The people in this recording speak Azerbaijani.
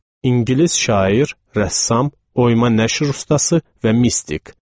İngilis şair, rəssam, oyma nəşr ustası və mistik.